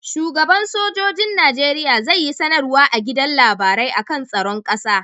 Shugan sojojin nageria zai yi sanar wa a gidan labarai akan tsaron ƙasa